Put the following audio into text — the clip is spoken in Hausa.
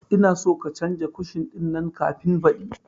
Ina son ka canza kushin ɗin nan kafin baɗi